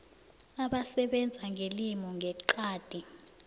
abasebenza ngelimi ngeqadi